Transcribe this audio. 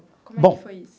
Como é que foi isso?